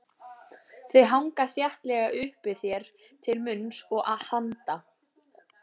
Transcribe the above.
Þau hanga þéttlega uppi þér til munns og handa.